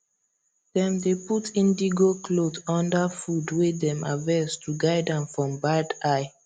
dem dey put indigo cloth under food wey dem harvest to guard am from bad eye